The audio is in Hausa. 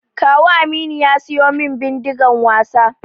Kawu Aminu ya siyu min Bindigan wasa